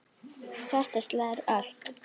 Hjartað slær ört.